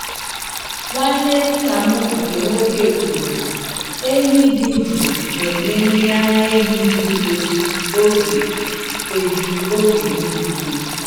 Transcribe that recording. Nwanne nna m nkè nwoke kwuru na ehi dị jụụ na-enye mmiri ara ehi juru eju oge eju oge niile.